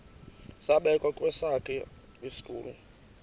zabekwa kwesakhe isitulo